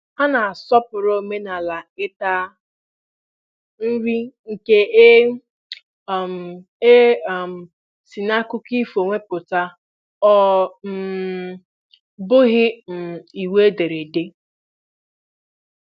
Ha na-asọpụrụ omenala ịta nri nke e um e um si n'akụkọ ifo nweta, ọ um bụghị um iwu ederede.